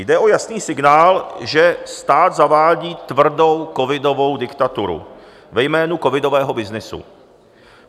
Jde o jasný signál, že stát zavádí tvrdou covidovou diktaturu ve jménu covidového byznysu.